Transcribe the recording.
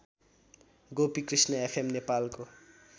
Gopikrishna FM नेपालको